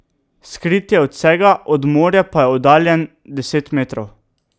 Skrit je od vsega, od morja pa je oddaljen deset metrov.